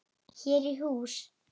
Hér í hús